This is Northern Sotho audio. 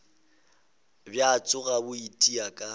bja tšona bo itia ka